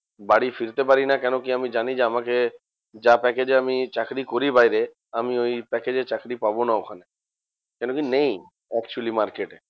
বাড়ি ফিরতে পারিনা কেন কি? আমি জানি যে, আমাকে যা package এ আমি চাকরি করি বাইরে আমি ওই package এ চাকরি পাবনা ওখানে। কেন কি? নেই actually market এ।